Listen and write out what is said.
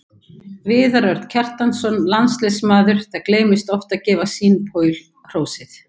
Viðar Örn Kjartansson, landsliðsmaður Það gleymist oft að gefa Sean Paul hrósið.